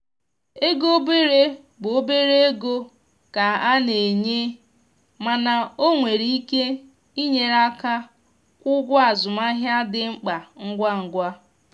ego obere bụ obere ego ka e na-enye mana o nwere ike inyere aka kwụọ ụgwọ azụmahịa dị mkpa ngwa ngwa.